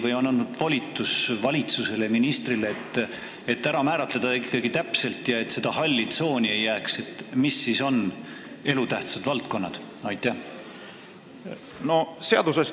Või on antud valitsusele, ministrile, volitus ikkagi täpselt kindlaks määrata, mis siis on elutähtsad valdkonnad, et ei jääks seda halli tsooni?